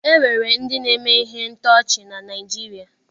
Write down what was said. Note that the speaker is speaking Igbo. E nwere ndị na-eme ihe ntọchi na Naịjirịa.